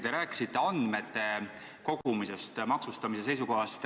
Te rääkisite andmete kogumisest maksustamise seisukohast.